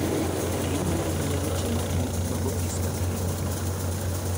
Be inyalo miya weche matut mag ofis ma Kenya